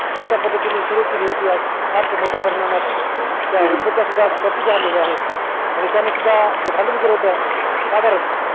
छोट्या पद्धतीने सुरु केली होती आज ती फार मोट्या प्रमाणात त्या उदबत्या सुद्धा प्रसिद्द झालेल्या आहेत आणि त्यांनी सुद्धा जे भांडवल साधारण